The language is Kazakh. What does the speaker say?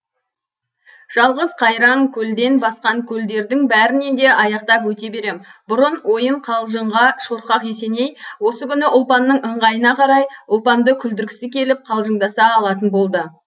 жалғыз қайраң көлден басқа көлдердің бәрінен де аяқтап өте берем бұрын ойын қалжыңға шорқақ есеней осы күні ұлпанның ыңғайына қарай ұлпанды күлдіргісі келіп қалжыңдаса алатын болды